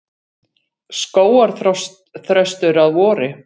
Skógarþröstur að vori.